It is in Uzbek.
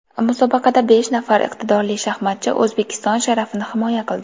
Musobaqada besh nafar iqtidorli shaxmatchi O‘zbekiston sharafini himoya qildi.